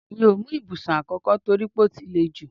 Mi ò mú ibùsùn àkókò toripe ó ti lè jú